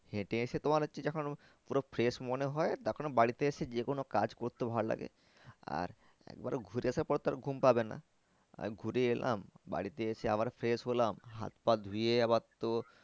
হেঁটে এসে তোমার হচ্ছে যখন পুরো fresh মনে হয়। তখন বাড়িতে এসে যে কোনো কাজ করতে ভালো লাগে আর একবার ঘুরে আসার পর তো আর ঘুম পাবে না আমি ঘুরে এলাম বাড়িতে এসে আবার fresh হলাম হাত পা ধুয়ে আবার তো